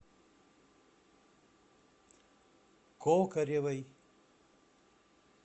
кокоревой